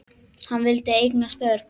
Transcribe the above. Hann vildi eignast börn.